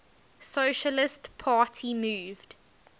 socialist party moved